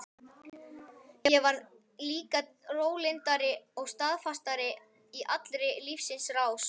Ég varð líka rólyndari og staðfastari í allri lífsins rás.